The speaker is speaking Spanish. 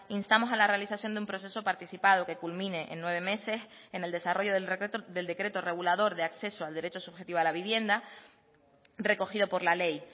instamos a la realización de un proceso participado que culmine en nueve meses en el desarrollo del decreto regulador de acceso al derecho subjetivo a la vivienda recogido por la ley